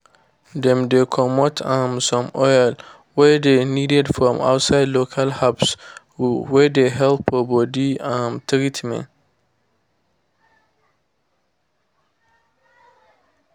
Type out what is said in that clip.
dem dey comot um some oil wey dey needed from inside local herbs wey dey help for body um treatment.